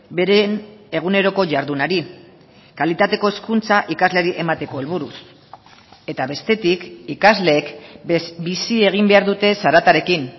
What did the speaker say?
beren eguneroko jardunari kalitateko hezkuntza ikasleari emateko helburuz eta bestetik ikasleek bizi egin behar dute zaratarekin